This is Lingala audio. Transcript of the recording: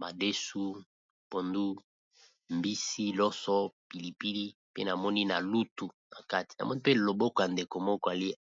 madesu na tomson pembeni na mwa pilipili.